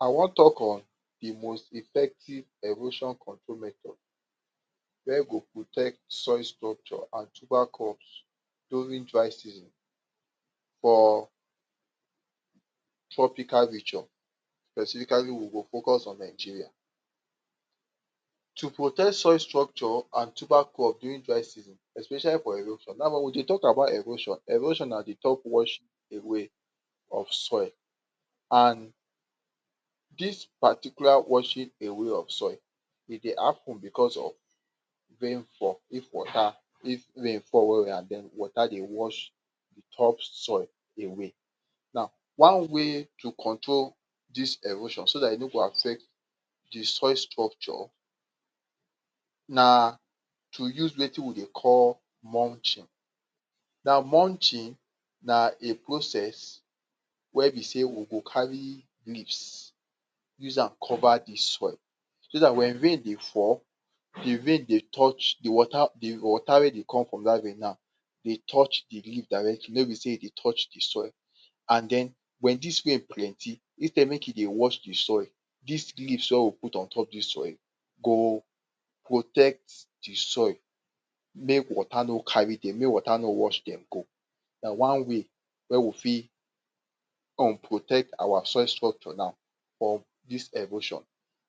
I wan talk on de most effective erosion control method, wey go protect soil structure and tuber crops during dry season for tropical nation Specifically we go focus on Nigeria, to protect soil structure and tuber crops during dry season especially for erosion Now wen we dey talk about erosion, erosion na di top wash away of soil and dis particular washing away of soil e dey hapun because of rain fall if water if rain fall well well and water dey wash di top soil away Now, one way to control dis erosion so dat e no go affect di soil structure na to use wetin we dey call Monchin Now Monchin na a process wia be sey we go carry leafs use am cover di soil so dat wen rain dey fall, di rain dey touch di water um di water wey dey come from dat rain now dey touch di leaf directly no be sey e dey touch di soil And den wen dis rain plenty instead make e dey wash di soil dis leafs wey we put on top di soil go protect di soil make water no Cari Dem make water no wash Dem go Na one way wey we fit um protect our soil structure now of dis erosion,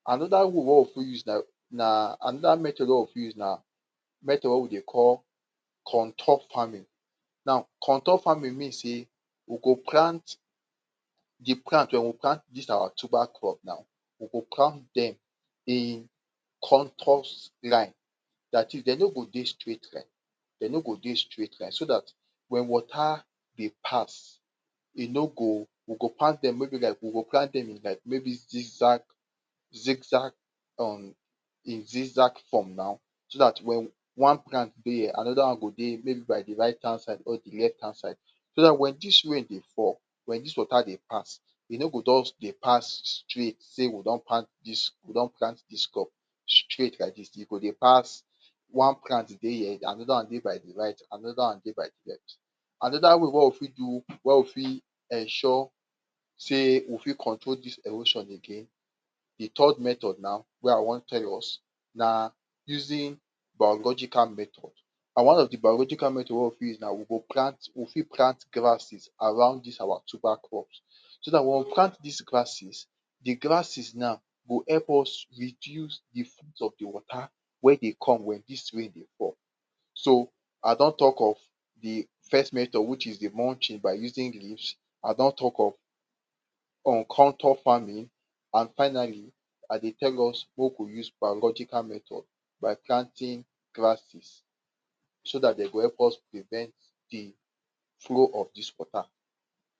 anoda way wey we use na um anoda metod wey we fit use na metod wey we dey call contour farming now Contour farming mean say we go plant di plant we go plant dis our tuber crop now we go plant Dem in contours line datis Dem no go dey straight line, Dem no go dey straight line so dat wen water dey pass e no go, we go plant Dem wey be like we go plant may be zigzag zigzag um zigzag form now So dat wen one plant dey here anoda one go dey maybe by right hand side because di left hand side, so dat wen dis rain dey fall, wen dis wata dey pass e no go just dey pass straight say we don plant dis, we don plant dis crop straight like dis Dem go dey pass One plant dey here anoda one dey right anoda one dey by the left, anoda way wey we fit do wey we fit ensure sey we fit control dis erosion again, di third method na wey I wan tell us na using biological method And one of di biological metod wey we fit use na we go plant, we fit plant grasses around dis our tuber crop so dat wen we plant dis grasses, di grasses na go help us reduce di Of di wata wey dey come wen dis rain dey fall So I don talk of di fest metod which is di Monchin by using leafs, I don talk of um contour farming and finally I dey tell us maku use biological metod by planting grasses so dat Dem go help us prevent di follow of dis water